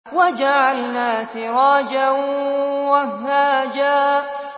وَجَعَلْنَا سِرَاجًا وَهَّاجًا